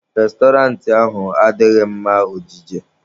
Restọrantị ahụ adịghị mma ọjije